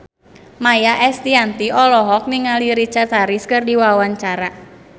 Maia Estianty olohok ningali Richard Harris keur diwawancara